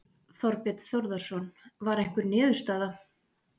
Þorbjörn Þórðarson: Var einhver niðurstaða?